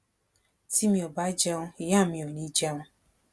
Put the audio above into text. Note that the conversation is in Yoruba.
tí mi ò bá jẹun ìyá mi ò ní í jẹun